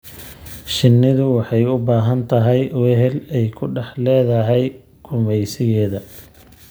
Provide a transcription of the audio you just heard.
Shinnidu waxay u baahan tahay wehel ay ku dhex leedahay gumaysigeeda.